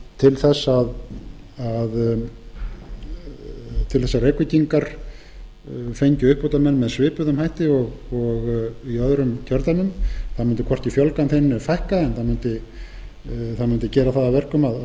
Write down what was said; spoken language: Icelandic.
til þess að reykvíkingar fengju uppbótarmenn með svipuðum hætti og í öðrum kjördæmum það mundi hvorki fjölga þeim né fækka en gerði það að verkum að